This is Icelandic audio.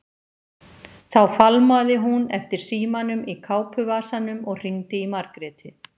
Þá fálmaði hún eftir símanum í kápuvasanum og hringdi í Margréti.